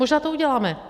Možná to uděláme.